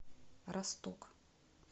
росток